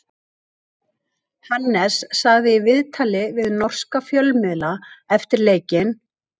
Hannes sagði í viðtali við norska fjölmiðla eftir leikinn: